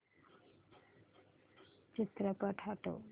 चित्रपट हटव